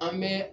An bɛ